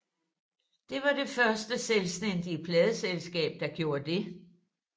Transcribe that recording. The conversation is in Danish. Det var det første selvstændige pladeselskab der gjorde det